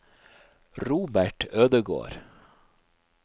Robert Ødegård